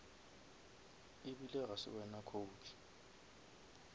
ebile ga se wena coach